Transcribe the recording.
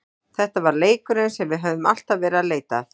Þetta var leikurinn sem við höfðum alltaf verið að leita að.